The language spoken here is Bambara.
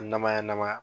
Namaya namaya